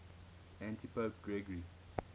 antipope gregory